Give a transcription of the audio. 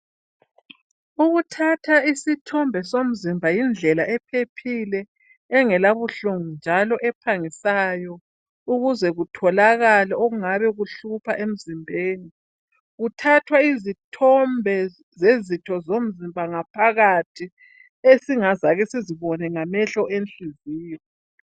Ukuthatha isithombe somzimba yindlela ephephile. Engelabuhlungu njalo ephangisayo. Ukuzebkutholakale okuhluphayo emzimbeni. Kuthathwa izitho zomzimba ngaphakathi, esingakaze sizibone ngamehlo enhliziyo.